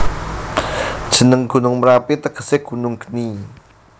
Jeneng Gunung Merapi tegese Gunung Geni